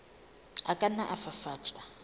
a ka nna a fafatswa